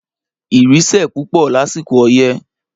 Ìrì sẹ̀ pupọ lásìkò ọyẹ́